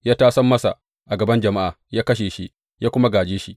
Ya tasam masa a gaban jama’a, ya kashe shi, ya kuma gāje shi.